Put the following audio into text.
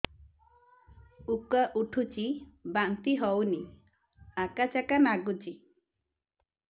ଉକା ଉଠୁଚି ବାନ୍ତି ହଉନି ଆକାଚାକା ନାଗୁଚି